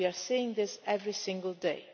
nature. We are seeing this every single